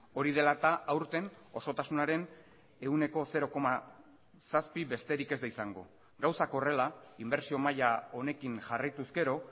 hori dela eta aurten osotasunaren ehuneko zero koma zazpi besterik ez da izango gauzak horrela inbertsio maila honekin jarraituz gero